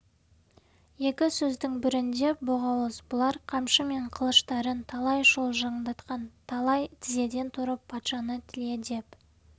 екі сөздің бірінде боғауыз бұлар қамшы мен қылыштарын талай шолжаңдатқан талай тізеден тұрып патшаны тіле деп